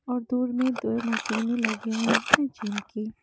और दूर में दो मशीनें लगी हुई हैं जिम की।